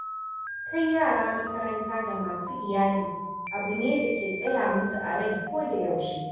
Kai yara makaranta ga masu Iyali abu ne da ke tsaya musu a rai kodayaushe